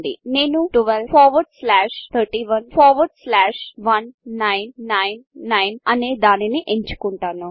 నేను 12311999 అనే దానిని ఎంచుకుంటాను